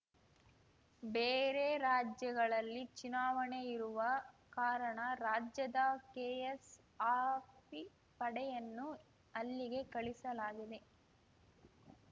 ಬೇರೆ ರಾಜ್ಯಗಳಲ್ಲಿ ಚುನಾವಣೆ ಇರುವ ಕಾರಣ ರಾಜ್ಯದ ಕೆಎಸ್‌ಆರ್‌ಪಿ ಪಡೆಯನ್ನು ಅಲ್ಲಿಗೆ ಕಳುಹಿಸಲಾಗಿದೆ